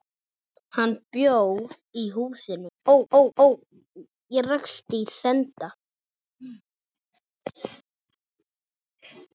Hann bjó í húsinu.